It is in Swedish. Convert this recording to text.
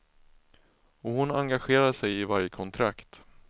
Och hon engagerar sig i varje kontrakt.